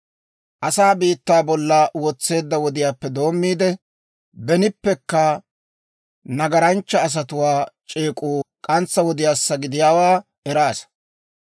«Asaa biittaa bolla wotseedda wodiyaappe doommiide, benippekka nagaranchcha asatuwaa c'eek'uu k'antsa wodiyaassa gidiyaawaa eraasa;